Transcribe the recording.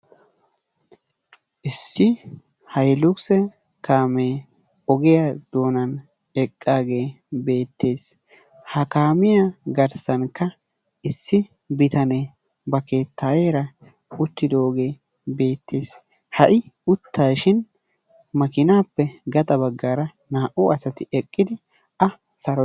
Issi hayluxe kaame ogiyaa doonan eqqage betees. Ha kaamiyaa garssankka issi bitane ba keettayera uttidoge beetees. Ha i uttashin maakinappe gaxa baggaara naa'u asati eqqidi a sarotosona.